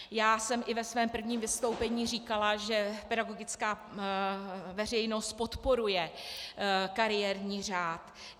Já jsem i ve svém prvním vystoupení říkala, že pedagogická veřejnost podporuje kariérní řád.